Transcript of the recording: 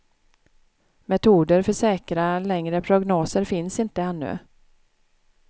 Metoder för säkra längre prognoser finns inte ännu.